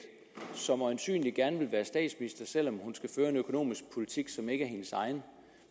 som øjensynlig gerne vil være statsminister selv om hun skal føre en økonomisk politik som ikke er hendes egen